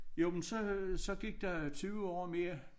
Jo men så så gik der 20 år mere